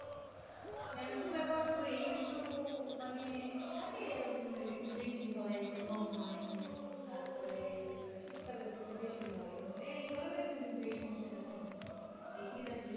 shampoo ব্যবহার করি কিন্তু, মানে থাকে এক একেক জনের একটু বেশি হয় একটু কম হয়, তারপরে শীতকালে তো একটু বেশি হয়, এই গরমের দিনে কিন্তু এই সমস্যাটা থাকে না, এই শীত আসলে,